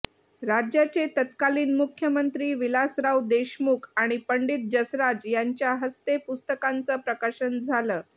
राज्याचे तत्कालीन मुख्यमंंत्री विलासराव देशमुख आणि पंडित जसराज यांच्या हस्ते पुस्तकाचं प्रकाशन झालं